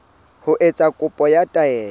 ho etsa kopo ya taelo